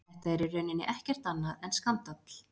Þetta er í rauninni ekkert annað en skandall.